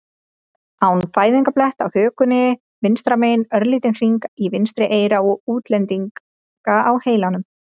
an fæðingarblett á hökunni vinstra megin, örlítinn hring í vinstra eyra og útlendinga á heilanum.